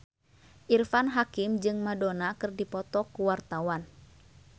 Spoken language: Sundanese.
Irfan Hakim jeung Madonna keur dipoto ku wartawan